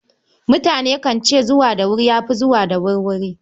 Mutane kan ce, zuwa da wuri ya fi zuwa da wurwuri.